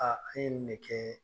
e ye nin de kɛɛ